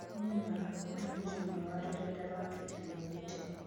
"Nĩma", mũtũmĩri ũmwe wa rurenda rwa Twitter nĩaugĩte